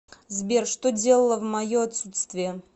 сбер что делала в мое отсутствие